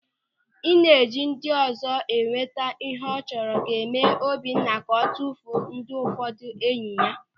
Ị na-eji ndịọzọ enweta ịhe ọ chọrọ ga-eme Obinna ka o tufuo ndị ụfọdụ enyi ya.